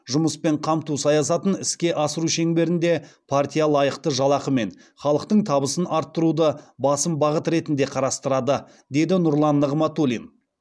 жұмыспен қамту саясатын іске асыру шеңберінде партия лайықты жалақы мен халықтың табысын арттыруды басым бағыт ретінде қарастырады деді нұрлан нығматулин